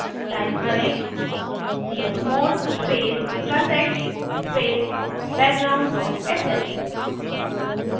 type करें chmod space plus x space background dot sh